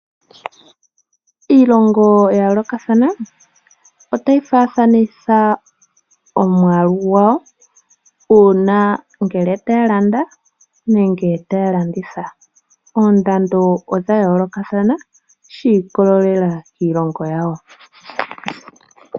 Iilongo ya yoolokathana ota yi fafanitha omwaalu gwawo, uuna ngele taya landa nenge taya landitha. Oondando odha yoolokathana shii kololela kiilongo yawo.